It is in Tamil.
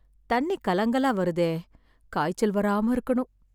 தண்ணி கலங்கலா வருதே. காய்ச்சல் வராம இருக்கணும்.